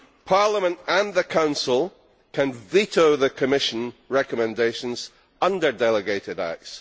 Parliament and the Council can veto the Commission recommendations under delegated acts.